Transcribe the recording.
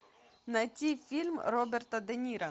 найти фильм роберта де ниро